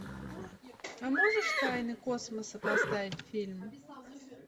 а можешь тайны космоса поставить фильм